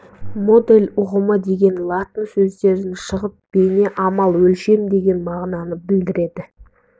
модель ұғымы деген латын сөздерін шығып бейне амал өлшем деген мағынаны білдіреді